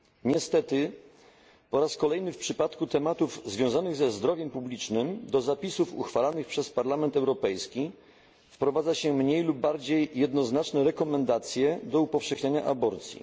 Niestety, po raz kolejny w przypadku tematów związanych ze zdrowiem publicznym do zapisów uchwalanych przez Parlament Europejski wprowadza się mniej lub bardziej jednoznaczne rekomendacje do upowszechniania aborcji.